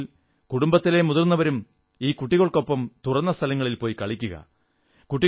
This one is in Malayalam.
സാധിക്കുമെങ്കിൽ കുടുംബത്തിലെ മുതിർന്നവരും ഈ കുട്ടികൾക്കൊപ്പം തുറന്ന സ്ഥലങ്ങളിൽപോയി കളിക്കുക